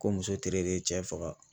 Ko muso tere de ye cɛ faga